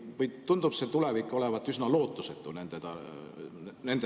Või tundub tulevik nende perspektiivis olevat üsna lootusetu?